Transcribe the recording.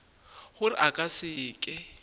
gore a ka se ke